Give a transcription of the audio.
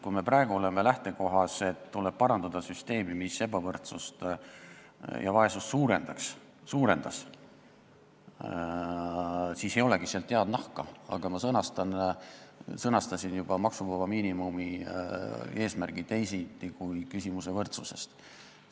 Kui me praegu oleme lähtekohas, et tuleb parandada süsteemi, mis ebavõrdsust ja vaesust suurendas, siis ei olegi sealt head nahka tulemas, aga ma juba sõnastasin maksuvaba miinimumi eesmärgi teisiti kui küsimuse võrdsusest.